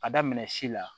Ka daminɛ si la